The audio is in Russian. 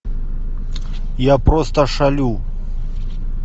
я просто шалю